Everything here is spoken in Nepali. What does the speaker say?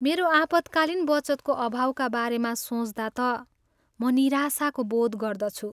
मेरो आपतकालीन बचतको अभावका बारेमा सोच्दा त म निराशाको बोध गर्दछु।